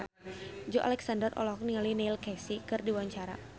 Joey Alexander olohok ningali Neil Casey keur diwawancara